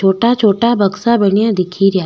छोटा छोटा बक्सा बनिया दिखे रिया।